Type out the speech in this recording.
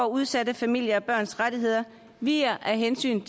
udsatte familier og børns rettigheder viger af hensyn